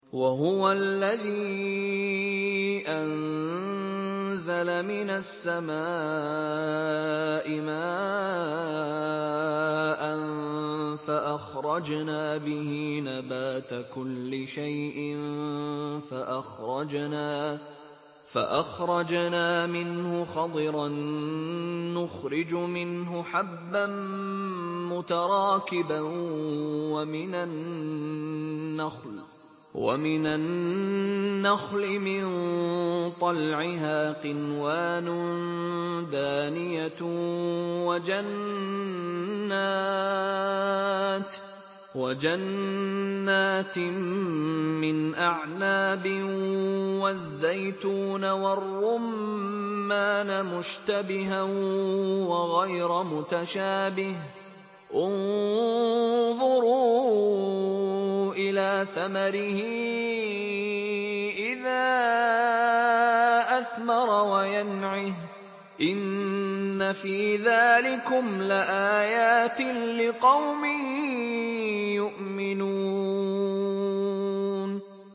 وَهُوَ الَّذِي أَنزَلَ مِنَ السَّمَاءِ مَاءً فَأَخْرَجْنَا بِهِ نَبَاتَ كُلِّ شَيْءٍ فَأَخْرَجْنَا مِنْهُ خَضِرًا نُّخْرِجُ مِنْهُ حَبًّا مُّتَرَاكِبًا وَمِنَ النَّخْلِ مِن طَلْعِهَا قِنْوَانٌ دَانِيَةٌ وَجَنَّاتٍ مِّنْ أَعْنَابٍ وَالزَّيْتُونَ وَالرُّمَّانَ مُشْتَبِهًا وَغَيْرَ مُتَشَابِهٍ ۗ انظُرُوا إِلَىٰ ثَمَرِهِ إِذَا أَثْمَرَ وَيَنْعِهِ ۚ إِنَّ فِي ذَٰلِكُمْ لَآيَاتٍ لِّقَوْمٍ يُؤْمِنُونَ